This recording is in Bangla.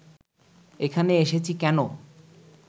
এখানে এসেছি কেন